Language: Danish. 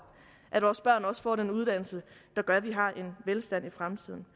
at vores børn også får den uddannelse der gør at vi har en velstand i fremtiden